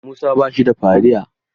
Musa ba shi da fariya.